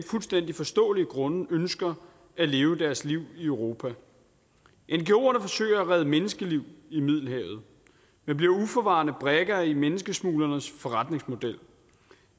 fuldstændig forståelige grunde ønsker at leve deres liv i europa ngoerne forsøger at redde menneskeliv i middelhavet men bliver uforvarende brikker i menneskesmuglernes forretningsmodel